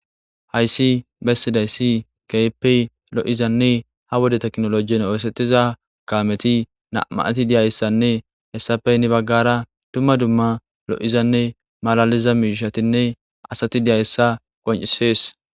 Hayssi bessidayssi keype lo,izanne ha wode teknolojin oosettiza kameti namati diyayssanne hessafey ni baggara dumma dumma lo,izanne malaliza miishatinne asati diyayssa qon,isees.